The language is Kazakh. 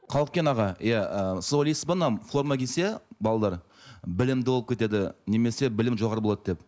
қалкен аға иә і сіз ойлайсыз ба мына форма кисе балалар білімді болып кетеді немесе білімі жоғары болады деп